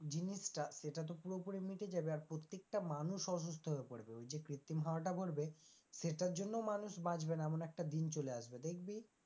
জিনিসটা সেটা তো পুরুপুরিই মিটে যাবে আর প্রত্যেকটা মানুষ অসুস্থ হয়ে পড়বে ওই যে কৃত্রিম হওয়াটা ভরবে সেইটার জন্যও মানুষ বাঁচবে না, এমন একটা দিন চলে আসবে দেখবি।